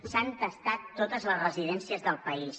s’han testat totes les residències del país